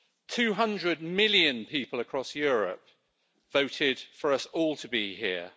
Two hundred million people across Europe voted for us all to be here.